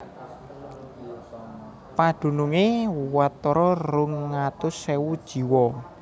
Padunungé watara rong atus ewu jiwa